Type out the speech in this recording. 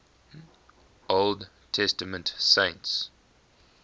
old testament saints